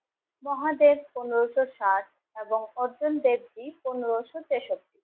মহাদেব পনেরোশো ষাট এবং অরজুন দেব পনেরোশো তেষট্টি